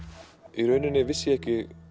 í rauninni vissi ég ekki